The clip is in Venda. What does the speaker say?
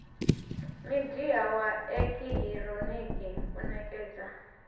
midia wa eekihironiki u nekedza